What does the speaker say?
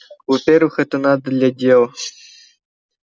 во-первых это надо для дела